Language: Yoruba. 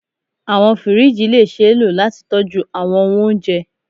Awọn firiji le ṣee lo lati tọju awọn ohun ounjẹ